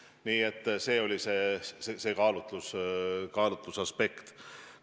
Nii et selline oli kaalutlusaspekt.